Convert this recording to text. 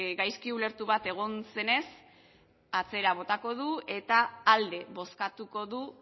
gaizki ulertu bat egon zenez atzera botako du eta alde bozkatuko du